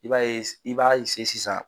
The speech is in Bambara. I b'a ye i b'a se sisan